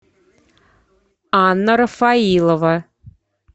анна рафаилова